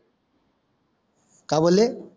काय बोले